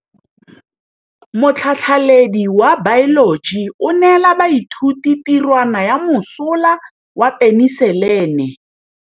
Motlhatlhaledi wa baeloji o neela baithuti tirwana ya mosola wa peniselene.